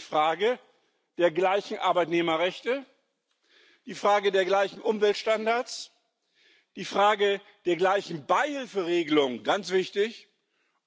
Also die Frage der gleichen Arbeitnehmerrechte, die Frage der gleichen Umweltstandards, die Frage der gleichen Beihilferegelung ganz wichtig